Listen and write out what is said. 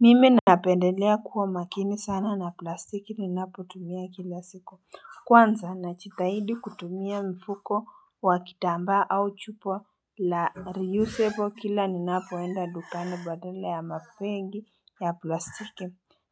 Mimi napendelea kuwa makini sana na plastiki ni napo tumia kila siku Kwanza najitahidi kutumia mfuko wa kitamba au chupa la reusable kila ni napoenda dukani badala ya mabegi ya plastiki